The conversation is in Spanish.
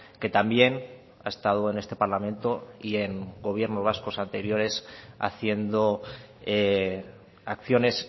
que también ha estado en este parlamento y en gobiernos vascos anteriores haciendo acciones